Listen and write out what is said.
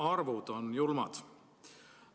Arvud on julmad.